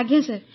ଆଜ୍ଞା ସାର୍